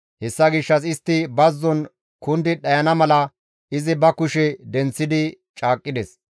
Hessa gishshas istti bazzon kundi dhayana mala, izi ba kushe denththidi caaqqides.